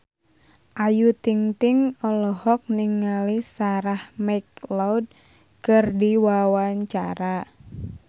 Ayu Ting-ting olohok ningali Sarah McLeod keur diwawancara